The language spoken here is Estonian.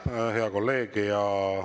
Aitäh, hea kolleeg!